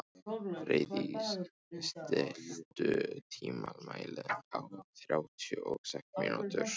Freydís, stilltu tímamælinn á þrjátíu og sex mínútur.